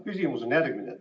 Küsimus on järgmine.